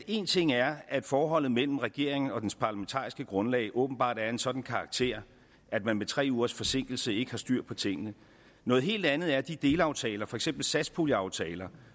en ting er at forholdet mellem regeringen og dens parlamentariske grundlag åbenbart er af en sådan karakter at man med tre ugers forsinkelse ikke har styr på tingene noget helt andet er de delaftaler for eksempel satspuljeaftaler